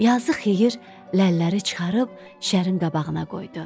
Yazıq Xeyir ləlləri çıxarıb şərin qabağına qoydu.